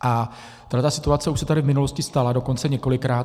A tahle situace už se tady v minulosti stala dokonce několikrát.